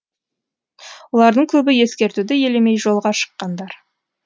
олардың көбі ескертуді елемей жолға шыққандар